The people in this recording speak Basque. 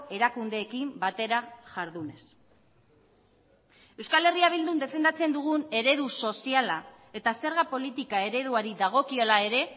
erakundeekin batera jardunez euskal herria bildun defendatzen dugun eredu soziala eta zerga politika ereduari dagokiola ere